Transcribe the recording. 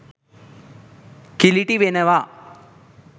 කිලිටි වෙනවා.